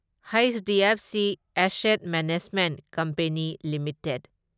HDFC asset management company limited